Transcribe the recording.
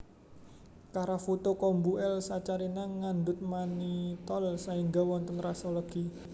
Karafuto kombu L saccharina ngandhut manitol saéngga wonten raso legi